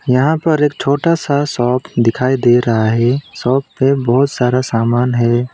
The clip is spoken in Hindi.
यहां पर एक छोटा सा शॉप दिखाई दे रहा है शॉप पे बहुत सारा सामान है।